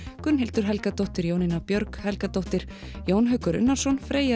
Gunnhildur Helgadóttir Jónína Björg Helgadóttir Jón Haukur Unnarsson Freyja